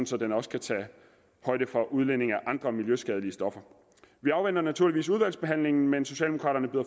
så den også kan tage højde for udledning af andre miljøskadelige stoffer vi afventer naturligvis udvalgsbehandlingen men socialdemokraterne